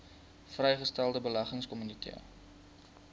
vrygestelde beleggingsinkomste